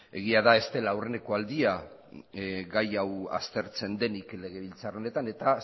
egia da ez dela aurreneko aldia gai hau aztertzen denik legebiltzar honetan eta